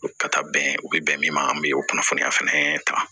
Ka taa bɛn u bi bɛn min ma an bɛ o kunnafoniya fɛnɛ ta